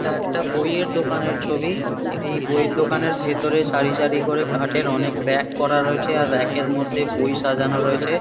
এটা একটা বইয়ের দোকানের ছবি। এই বইয়ের দোকানের ভেতরে সারি সারি করে কাঠের অনেক রেক করা রয়েছে আর রেক -এর মধ্যে বই সাজানো রয়েছে।